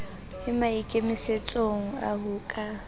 e maikemisetsong a ho ka